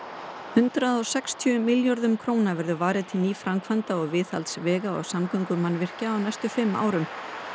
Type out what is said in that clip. hundrað og sextíu milljörðum verður varið til nýframkvæmda og viðhalds vega og samgöngumannvirkja á næstu fimm árum